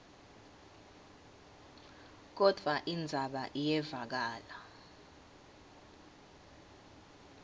kodvwa indzaba iyevakala